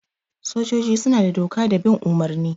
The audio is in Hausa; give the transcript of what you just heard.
Sojoji suna da doka da bin umurni.